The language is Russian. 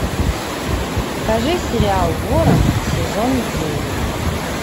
покажи сериал ворон сезон девять